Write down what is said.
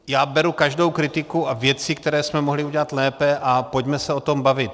Já beru každou kritiku a věci, které jsme mohli udělat lépe, a pojďme se o tom bavit.